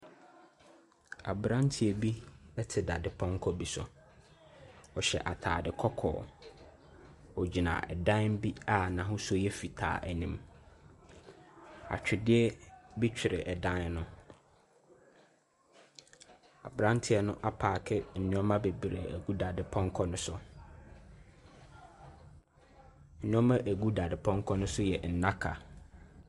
Aberanteɛ bi te dadepɔnkɔ bi so. Ɔhyɛ atade kɔkɔɔ. Ɔgyina ɛdan bi a n'ahosuo yɛ fitaa anim. Atwedeɛ bi twere dan no. Aberanteɛ no apaake nneɛma bebree agi dadepɔnkɔ no so. Nneɛma a ɛgu dade pɔnkɔ no so yɛ nnaka.